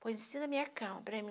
Pois em cima da minha cama, para mim